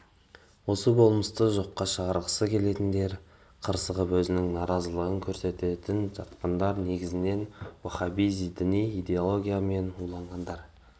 осы болмысты жоққа шығарғысы келетіндер қырсығып өзінің наразылығын көрсетіп жатқандар негізінен уахабизм діни идеологиясымен уланғандар